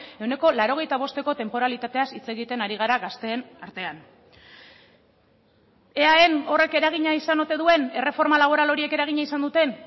ehuneko laurogeita bosteko tenporalitateaz hitz egiten ari gara gazteen artean eaen horrek eragina izan ote duen erreforma laboral horiek eragina izan duten